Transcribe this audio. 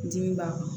N dimi b'a kan